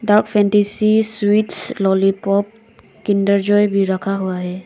Sweets lollipop Kinder Joy भी रखा हुआ है।